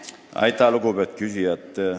Aitäh, lugupeetud küsija!